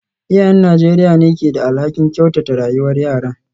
Iyayen Najeriya ne ke da alhakin kyautata rayuwar yaran.